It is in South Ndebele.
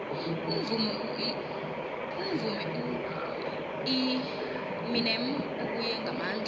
umvumi ueminem ubuye ngamandla